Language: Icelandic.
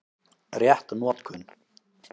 Rétt notkun